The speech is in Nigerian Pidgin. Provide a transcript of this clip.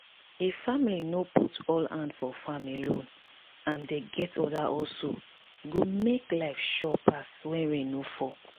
if family no put all hand for farm alone and dem get other hustle e go make life sure pass when rain no fall